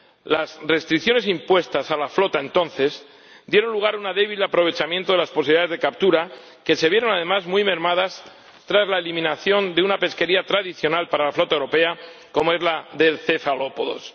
Las restricciones impuestas a la flota entonces dieron lugar a un débil aprovechamiento de las posibilidades de captura, que se vieron además muy mermadas tras la eliminación de una pesquería tradicional para la flota europea como es la de los cefalópodos.